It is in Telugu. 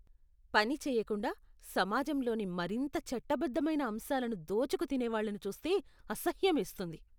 పని చేయకుండా, సమాజంలోని మరింత చట్టబద్ధమైన అంశాలను దోచుకు తినేవాళ్ళను చూస్తే అసహ్యమేస్తుంది.